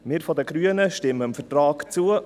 Wir Grüne stimmen dem Vertrag zu.